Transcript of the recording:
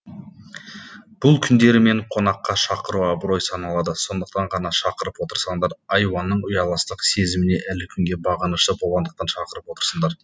бұл күндері мені қонаққа шақыру абырой саналады сондықтан ғана шақырып отырсаңдар айуанның ұяластық сезіміне әлі күнге бағынышты болғандықтан шақырып отырсыңдар